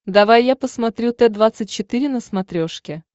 давай я посмотрю т двадцать четыре на смотрешке